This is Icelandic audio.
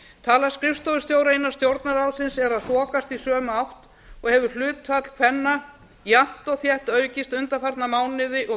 tala skrifstofustjóra innan stjórnarráðsins er að þokast í sömu átt og hefur hlutfall kvenna jafnt og þétt aukist undanfarna mánuði og